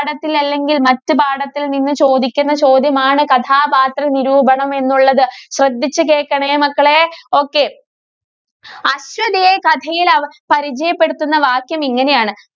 ~ഠത്തില്‍ അല്ലെങ്കില്‍ മറ്റു പാഠത്തില്‍ നിന്ന് ചോദിക്കുന്ന ചോദ്യമാണ് കഥാപാത്രനിരൂപണം എന്നുള്ളത്. ശ്രദ്ധിച്ചു കേള്‍ക്കണേ മക്കളേ. okay അശ്വതിയെ കഥയില്‍ അ പരിചയപ്പെടുത്തുന്ന വാക്യം ഇങ്ങനെയാണ്.